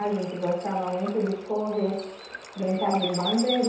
A gente gostava muito de correr, brincar de